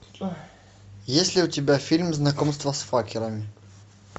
есть ли у тебя фильм знакомство с факерами